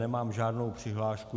Nemám žádnou přihlášku.